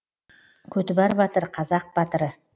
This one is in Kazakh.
көтібар батыр қазақ батыры